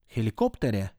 Helikopterje?